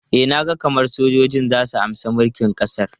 E, na ga kamar sojoji za su amshi mulkin ƙasar.